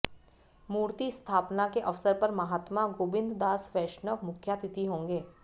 मूर्ति स्थापना के अवसर पर महात्मा गोबिंद दास वैश्णव मुख्यातिथि होंगे